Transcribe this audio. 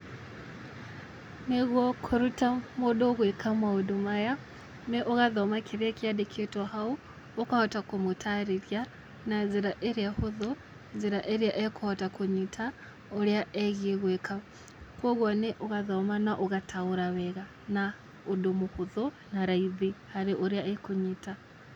Nĩguo kũruta mũndũ gwĩka maũndũ maya, nĩ ũgathoma kĩrĩa kĩandĩkĩtwo hau, ũkahota kũmũtarĩria na njĩra ĩrĩa hũthũ, njĩra ĩrĩa ekũhota kũnyita ũrĩa ĩgiĩ gwĩka, kũguo nĩ ũgathoma na ũgataũra wega na ũndũ mũhũthũ na raithi harĩ ũrĩa ekũnyita.